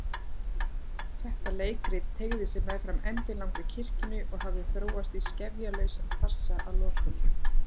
Þetta leikrit teygði sig meðfram endilangri kirkjunni og hafði þróast í skefjalausan farsa að lokum.